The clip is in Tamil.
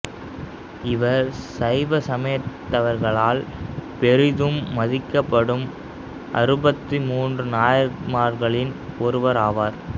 இவர் சைவ சமயத்தவர்களால் பெரிதும் மதிக்கப்படும் அறுபத்து மூன்று நாயன்மார்களில் ஒருவர் ஆவார்